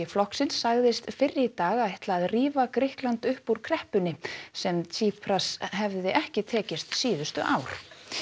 flokksins sagðist fyrr í dag ætla að rífa Grikkland upp úr kreppunni sem hefði ekki tekist síðustu ár